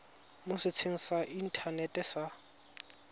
mo setsheng sa inthanete sa